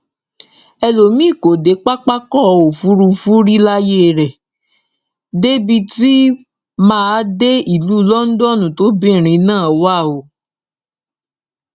elomiín kò dé pápákọ òfurufú rí láyé ẹ débi tó máa dé ìlú london tóbìnrin náà wà o